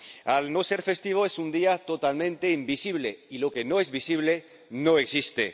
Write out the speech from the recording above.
Al no ser festivo, es un día totalmente invisible, y lo que no es visible no existe.